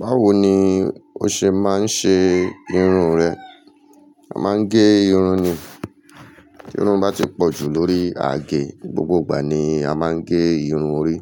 Báwoni ó ṣe máa ń ṣe irun rẹ? A máa ń gẹ irun ni. Irun bá ti pọ̀ jù lórí àge, gbogbo ìgbà ni a máa ń gẹ irun orí